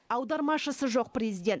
аудармашысы жоқ президент